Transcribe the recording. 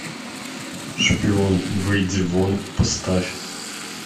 шпион выйди вон поставь